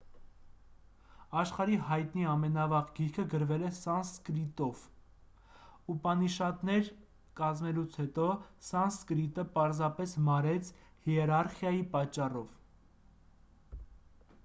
աշխարհի հայտնի ամենավաղ գիրքը գրվել է սանսկրիտով ուպանիշադներ կազմելուց հետո սանսկրիտը պարզապես մարեց հիերարխիայի պատճառով